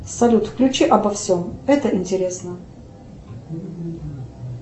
салют включи обо всем это интересно